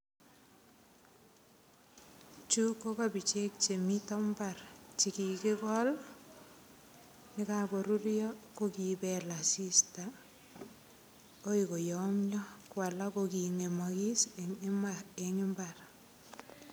Chu ko kapichek chemito mbar chekikikol yekakorurio ko kibel asista akoi koyomio ko alak ko kingemokis eng imbar.